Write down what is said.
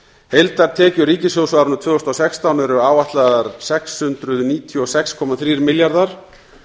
heildartekjur ríkissjóðs á árinu tvö þúsund og sextán eru áætlaðar sex hundruð níutíu og sex komma þrír milljarðar